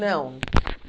Não.